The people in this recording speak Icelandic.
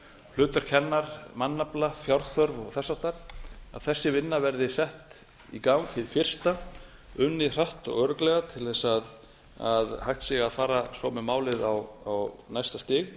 hlutverk hennar mannafla fjárþörf og þess háttar að þessi vinna verði sett í gang hið fyrsta unnið hratt og örugglega til þess að hægt sé að fara svo með málið á næsta stig